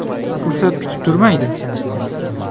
Fursat kutib turmaydi.